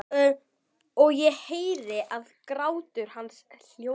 Og ég heyri að grátur hans hljóðnar.